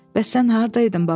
Bəs sən hardaydın baba?